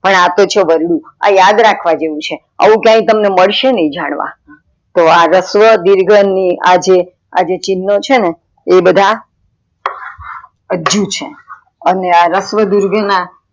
પણ અ તો છે વરડુ આ યાદ રાખવા જેવું છે, આવું ક્યાય મળશે નય જાણવા, તો આ રસ્વ દિર્ઘ ની આ જે ચિન્હ છેને એ બધા અજ્જુ છે. અને રસ્વ દિર્ઘ ના